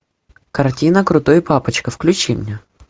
картина крутой папочка включи мне